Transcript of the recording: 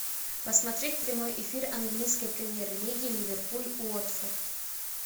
посмотреть прямой эфир английской премьер лиги ливерпуль уотфорд